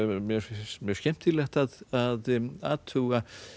mér finnst mjög skemmtilegt að athuga